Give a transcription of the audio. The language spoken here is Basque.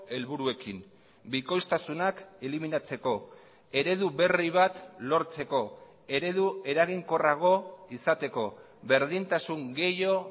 helburuekin bikoiztasunak eliminatzeko eredu berri bat lortzeko eredu eraginkorrago izateko berdintasun gehiago